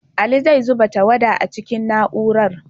Ali zai zuba tawada a cikin na'urar.